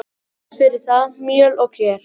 Vatn fer í það, mjöl og ger.